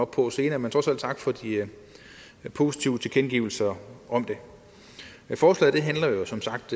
på senere men trods alt tak for de positive tilkendegivelser om det forslaget handler jo som sagt